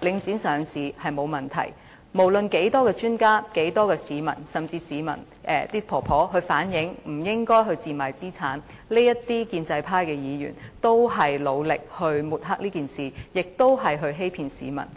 領匯上市沒有問題，無論多少專家、多少市民，甚至有婆婆反映不應該賤賣資產，這些建制派議員仍然努力抹黑，並且欺騙市民。